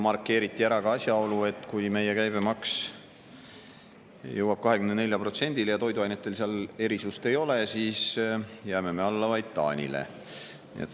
Markeeriti ära ka asjaolu, et kui meie käibemaks jõuab 24%-le ja toiduainetel erisust ei ole, siis jääme me alla vaid Taanile.